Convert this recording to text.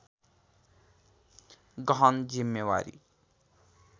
गहन जिम्मेवारी